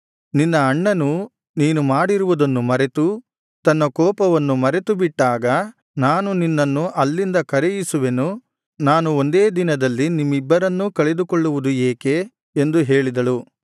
ನಿನ್ನ ಅಣ್ಣನು ನೀನು ಮಾಡಿರುವುದನ್ನು ಮರೆತು ತನ್ನ ಕೋಪವನ್ನು ಮರೆತು ಬಿಟ್ಟಾಗ ನಾನು ನಿನ್ನನ್ನು ಅಲ್ಲಿಂದ ಕರೆಯಿಸುವೆನು ನಾನು ಒಂದೇ ದಿನದಲ್ಲಿ ನಿಮ್ಮಿಬ್ಬರನ್ನೂ ಕಳೆದುಕೊಳ್ಳುವುದು ಏಕೆ ಎಂದು ಹೇಳಿದಳು